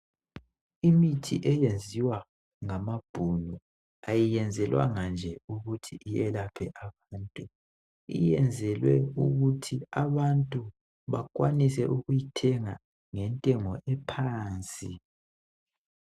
Imithi eyenziwa ngamabhunu, ayenzelwanga nje ukuthi iyelaphe umuntu , iyenzelwe ukuthi abantu bakwanise ukuyithenga ngentengo ephansi.